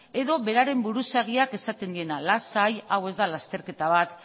edo beraren buruzagiak esaten diena lasai hau ez da lasterketa bat